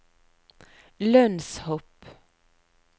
lønnshopp